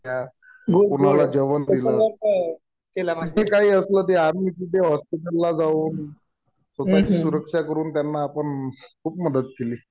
कुणाला जेवण दिलं. आणखीन काही असलं तर आम्ही हॉस्पिटलला जाऊन स्वतःची सुरक्षा करून त्यांना आपण खूप मदत केली.